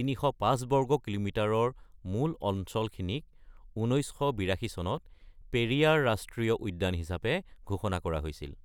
৩০৫ বৰ্গ কিলোমিটাৰৰ মূল অঞ্চলখিনিক, ১৯৮২ চনত পেৰিয়াৰ ৰাষ্ট্ৰীয় উদ্যান হিচাপে ঘোষণা কৰা হৈছিল।